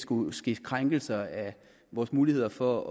kunne ske krænkelser af vores muligheder for